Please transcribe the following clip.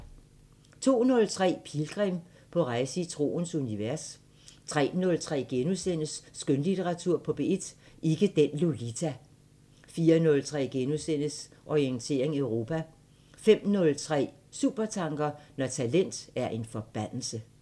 02:03: Pilgrim – på rejse i troens univers 03:03: Skønlitteratur på P1: Ikke den Lolita * 04:03: Orientering Europa * 05:03: Supertanker: Når talent er en forbandelse